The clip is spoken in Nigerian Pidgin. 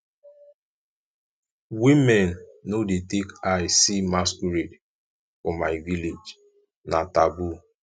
women no dey take eye see masquerade for my village na taboo